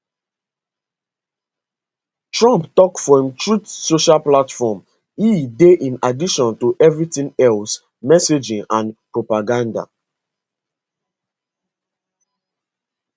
trump tok for imtruth social platform e dey in addition to evritin else messaging and propaganda